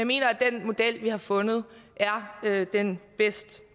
mener at den model vi har fundet er den bedst